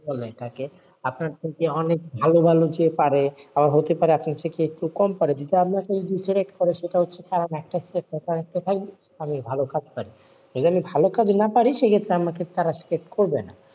আপনার থেকে অনেক ভালো ভালো যে পারে, আবার হতে পারে আপনার থেকে একটু কম পারে, ভালো কাজ পারি, এইজন্য ভালো কাজ না পারি সেই ক্ষেত্রে আমাকে তারা select করবে না,